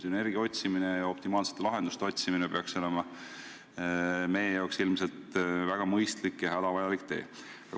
Sünergia otsimine, optimaalsete lahenduste otsimine peaks olema meie jaoks väga mõistlik ja hädavajalik tee.